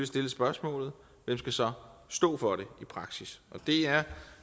stille spørgsmålet hvem skal så stå for det i praksis det er